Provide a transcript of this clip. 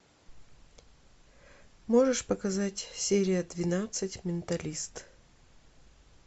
можешь показать серия двенадцать менталист